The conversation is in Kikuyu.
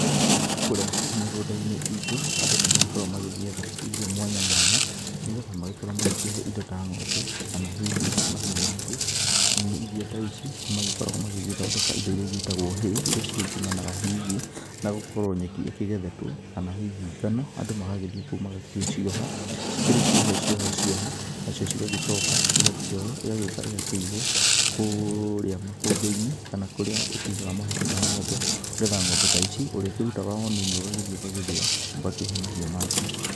Kũrĩa mĩgũnda-inĩ itũ andũ nĩ magĩkoragwo magĩgĩetha irio mwanya mwanya nĩ getha magĩkorwo magĩkĩhe indo ta, ngʹombe kana hihi mahiũ mangĩ. Irio ta ici nĩ magĩkoragwo magĩgĩthondeka indo iria igĩtagũo hĩĩ, iria cigĩkiumanaga hihi na gũkorwo nyeki ĩkĩgethetwo kana hihi ngano. Andũ magagĩthiĩ kũu magagĩcioha cikĩrĩ ciohe ciohe na cio ciga gĩcoka igakĩoyũo ĩgagĩũka ĩgakĩigũo kũrĩa makũmbĩ-inĩ kana kũrĩa ũkĩigaga mahuti ma ngʹombe nĩgetha ngʹombe ta ici ũrĩkĩrutaga o nini ũgagĩthiĩ ũgagĩthĩa ũgakĩhe mahiũ maku.